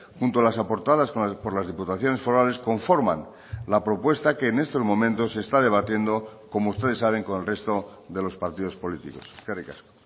junto a las aportadas por las diputaciones forales conforman la propuesta que en estos momentos se está debatiendo como ustedes saben con el resto de los partidos políticos eskerrik asko